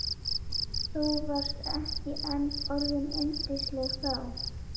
Þú varst ekki enn orðin yndisleg þá.